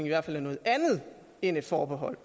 i hvert fald er noget andet end et forbehold